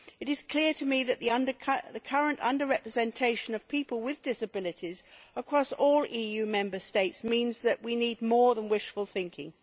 It is clear to me that the current under representation of people with disabilities across all EU Member States means that we need more than wishful thinking.